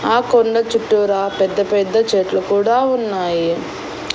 ఆ కొండ చుట్టూరా పెద్ద పెద్ద చెట్లు కూడా ఉన్నాయి.